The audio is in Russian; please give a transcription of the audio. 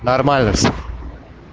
нормально всё